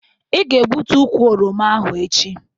Ị ga-egbutu ukwụ oroma ahụ echi.